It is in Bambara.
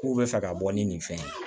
K'u bɛ fɛ ka bɔ ni nin fɛn in ye